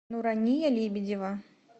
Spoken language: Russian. нурания лебедева